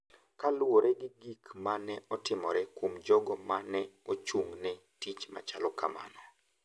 Kaluwore gi gik ma ne otimore kuom jogo ma ne ochung’ ne tich machalo kamano,